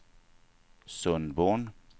Sundborn